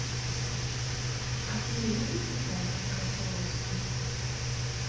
афина любит ли дайвинг рафаловский